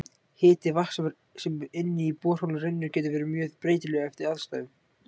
Hiti vatns sem inn í borholu rennur getur verið mjög breytilegur eftir aðstæðum.